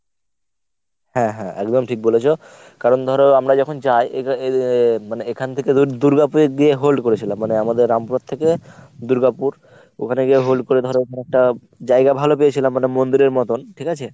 হ্যাঁ হ্যাঁ একদম ঠিক বলেছো কারণ ধর আমরা যখন যাই মানে এখান থেকে ধর দুর্গাপুর গিয়ে hold করেছিলাম মানে আমাদের রামপুরহাট থেকে দুর্গাপুর, ওখানে গিয়ে hold ধর একটা জায়গা ভালো পেয়েছিলাম মানে মন্দিরের মতন। ঠিকাছে?